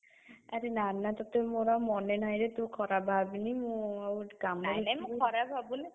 ଆରେ ନା ନା ତତେ ମୋର ଆଉ ମନେ ନାହିଁ ରେ ତୁ ଖରାପ ଭାବେନି। ମୁଁ ଆଉ କାମରେ ଥିଲି।